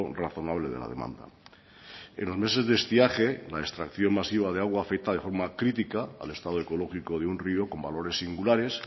razonable de la demanda en los meses de estiaje la extracción masiva de agua afecta de forma crítica al estado ecológico de un rio con valores singulares